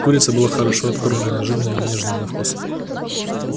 курица была хорошо откормленна жирна и нежная на вкус